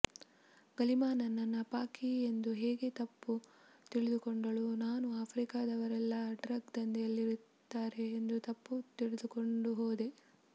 ಗಲಿಮಾ ನನ್ನನ್ನ ಪಾಕಿ ಎಂದು ಹೇಗೆ ತಪ್ಪು ತಿಳಿದುಕೊಂಡಳೋ ನಾನೂ ಆಫ್ರಿಕಾದವರೆಲ್ಲಾ ಡ್ರಗ್ ದಂಧೆಯಲ್ಲಿರುತ್ತಾರೆ ಎಂದು ತಪ್ಪು ತಿಳಿದುಕೊಂಡು ಹೋದೆ